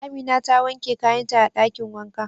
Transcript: Amina ta wanke kayan ta a dakin wanka.